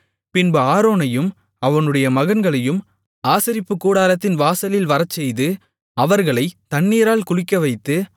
பின்பு ஆரோனையும் அவனுடைய மகன்களையும் ஆசரிப்புக்கூடாரத்தின் வாசலில் வரச்செய்து அவர்களை தண்ணீரால் குளிக்கவைத்து